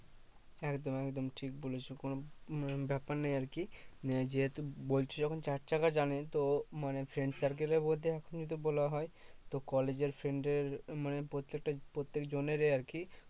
একদম একদম ঠিক বলেছো। কোনো ব্যাপার নেই আরকি মানে যেহেতু বলছো যখন চার চাকা জানে তো মানে friend circle এর মধ্যে যদি বলা হয়, তো কলেজের friend এর মানে প্রত্যেকটা প্রত্যেকজনেরই আরকি